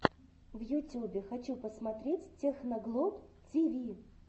в ютюбе хочу посмотреть техноглоб тиви